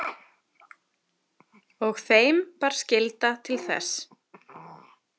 Og þeim bar skylda til þess.